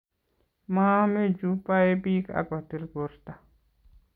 maame chu bae bik ak kotil borto